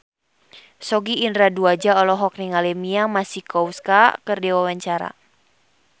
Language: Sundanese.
Sogi Indra Duaja olohok ningali Mia Masikowska keur diwawancara